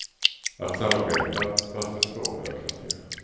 Att samarbeta, fast med två högkvarter.